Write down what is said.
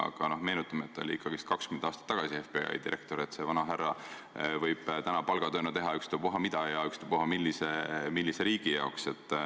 Aga meenutame, et ta oli FBI direktor ikkagi 20 aastat tagasi, see vanahärra võib täna palgatööna teha ükstapuha mida ja ükstapuha millise riigi heaks.